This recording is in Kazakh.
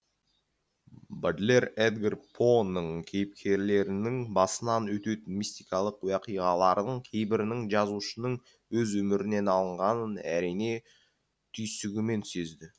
бодлер эдгар поның кейіпкерлерінің басынан өтетін мистикалық оқиғалардың кейбірінің жазушының өз өмірінен алынғанын әрине түйсігімен сезді